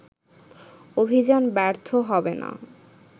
অভিযান ব্যর্থ হবে না